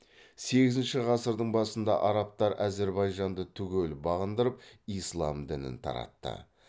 сегізінші ғасырдың басында арабтар әзірбайжанды түгел бағындырып ислам дінін таратты